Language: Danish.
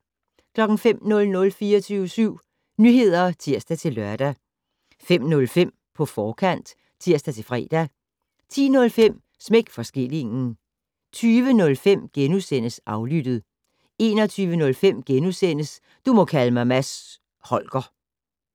05:00: 24syv Nyheder (tir-lør) 05:05: På forkant (tir-fre) 10:05: Smæk for skillingen 20:05: Aflyttet * 21:05: Du må kalde mig Mads Holger *